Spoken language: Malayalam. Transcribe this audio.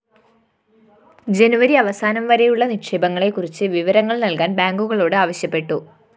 ജനുവരി അവസാനം വരെയുളള നിക്ഷേപങ്ങളെക്കുറിച്ച് വിവരങ്ങള്‍ നല്‍കാന്‍ ബാങ്കുകളോട് ആവശ്യപ്പെട്ടു